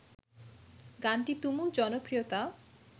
গানটি তুমুল জনপ্রিয়তা